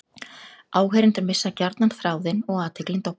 Áheyrendur missa gjarnan þráðinn og athyglin dofnar.